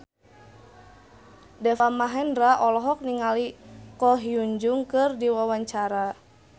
Deva Mahendra olohok ningali Ko Hyun Jung keur diwawancara